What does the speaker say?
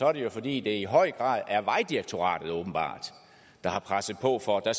er det jo fordi det i høj grad er vejdirektoratet der har presset på for at